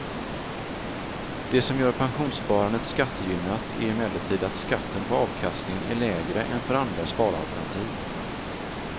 Det som gör pensionssparandet skattegynnat är emellertid att skatten på avkastningen är lägre än för andra sparalternativ.